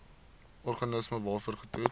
organisme waarvoor getoets